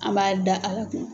An b'a da ala kun.